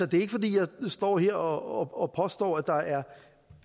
det er ikke fordi jeg står her og påstår at der er